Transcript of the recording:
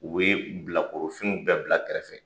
U bɛ ye bilakorofiniw bɛɛ bila kɛrɛfɛ.